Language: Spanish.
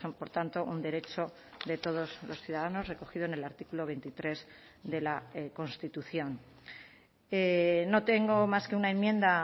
por tanto un derecho de todos los ciudadanos recogido en el artículo veintitrés de la constitución no tengo más que una enmienda